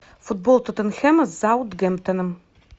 футбол тоттенхэма с саутгемптоном